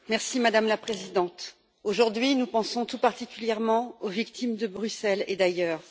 Madame la Présidente, aujourd'hui nous pensons tout particulièrement aux victimes de Bruxelles et d'ailleurs.